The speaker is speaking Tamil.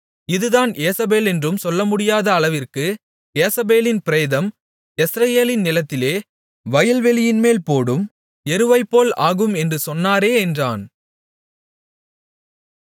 இதுதான் யேசபேலென்று சொல்லமுடியாத அளவிற்கு யேசபேலின் பிரேதம் யெஸ்ரயேலின் நிலத்திலே வயல்வெளியின்மேல் போடும் எருவைப்போல் ஆகும் என்றும் சொன்னாரே என்றான்